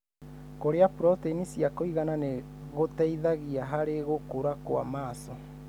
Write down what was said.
Kũrĩa proteini cia kũigana nĩgũteithagia harĩ gũkura kwa maso.